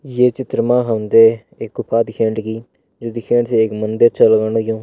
ये चित्र मा हम ते एक गुफा दिखेण लगीं जू दिखेण से एक मंदिर छा लगण लग्युं।